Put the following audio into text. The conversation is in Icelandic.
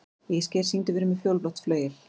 Ísgeir, syngdu fyrir mig „Fjólublátt flauel“.